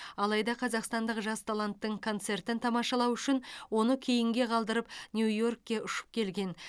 алайда қазақстандық жас таланттың концертін тамашалау үшін оны кейінге қалдырып нью йоркке ұшып келген